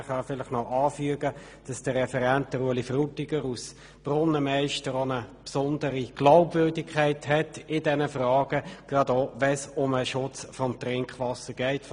Man kann vielleicht noch anfügen, dass Grossrat Frutiger als Brunnenmeister in diesen Fragen eine besondere Glaubwürdigkeit hat, gerade auch bezüglich des Trinkwasserschutzes.